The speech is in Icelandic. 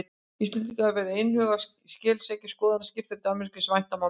Íslendingar voru einhuga og skeleggir en skoðanir skiptar í Danmörku svo sem vænta mátti.